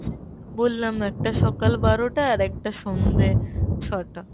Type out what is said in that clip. বললাম একটা সকাল বারোটা, আর একটা সন্ধ্যে ছটা